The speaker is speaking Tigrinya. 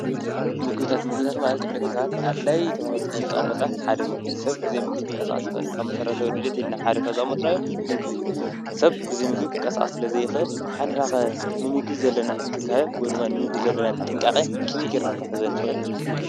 ምግብታት:- ምግብታት ማለት ንደቂ ሰባት ኣድላይ ተባሂሉ ካብ ዝተቐመጠ ሓደ ምግቢ እዩ፡፡ ሰብ ብዘይ ምግቢ ክንቀሳቐስ ኣይኽእልን። ካብ መሰረታዊ ድልየትና ካብዘቐመጥናዮም ምግቢ እዩ፡፡ ሰብ ብዘይምግቢ ክንቀሳቐስ ስለ ዘይኽእል እንሕና ኸ ዘለና እንክብካበ ወይ ድማ ንምግቢ ዘለና ጥንቃቐ ከመይ ገይርና ክንሕዞ ንኽእል?